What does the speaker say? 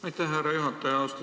Aitäh, härra juhataja!